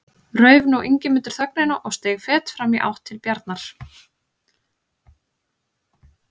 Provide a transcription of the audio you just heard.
Rauf nú Ingimundur þögnina og steig fet fram í átt til Bjarnar.